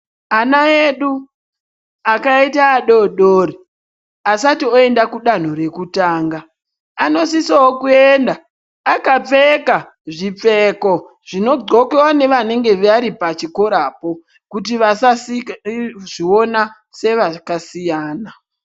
Ana yedu, akaita adodori, asati oyenda kudhanhu rekutanga, anosisowo kuenda akapfeka zvipfeko zvinogxokiwa nevanenge varipachikora apo, kuti vasazviona sevakasiyana.